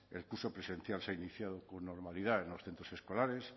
el curso presencial se ha iniciado con normalidad en los centros escolares